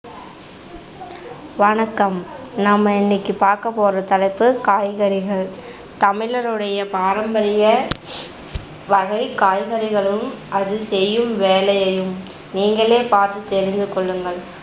வணக்கம் நம்ம இன்னைக்கு பாக்க போற தலைப்பு காய்கறிகள். தமிழருடைய பாரம்பரிய வகைக் காய்கறிகளும் அது செய்யும் வேலையையும் நீங்களே பார்த்து தெரிந்துகொள்ளுங்கள்